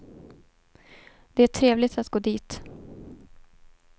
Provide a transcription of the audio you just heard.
Det är trevligt att gå dit.